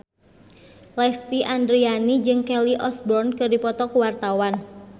Lesti Andryani jeung Kelly Osbourne keur dipoto ku wartawan